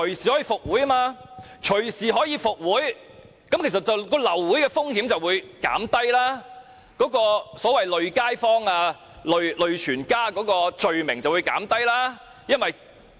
由於流會後可隨時復會，流會的風險便會減低，"累街坊"、"累全家"的罪名便會減低。